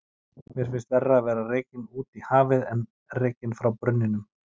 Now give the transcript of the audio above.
Mér sýnist verra að vera rekinn út í hafið en rekinn frá brunninum